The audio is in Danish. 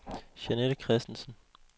Jeanette Kristensen